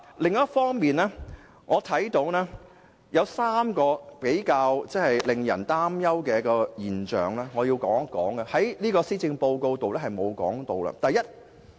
另一方面，我想談談3項令人擔憂的事項，這些事項在施政報告中並無提及。